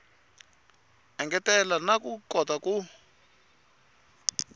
engetela na ku kota ku